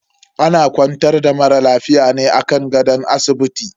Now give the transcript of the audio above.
Ana kwantar da mara lafiya ne a kan gadon asibiti.